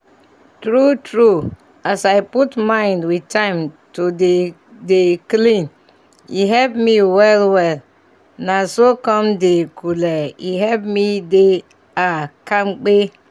true true as i put mind with time to dey dey clean e help me well well naso con dey kule e help me dey ah kampe